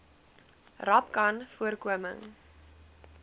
rapcanvoorkoming